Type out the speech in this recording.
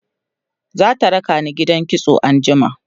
zata rakani gidan kitso anjima